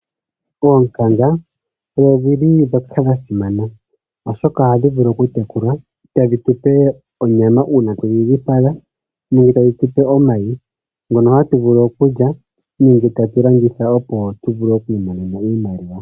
Oonkanga odhili dhoka dha simana oshoka ohadhi vulu oku tekulwa, tadhi tupe onyama uuna twedhi dhipaga nenge tadhi tupe omayi ngono hatu vulu okulya, nenge tatu landitha opo tuvule okwiimonena iimaliwa.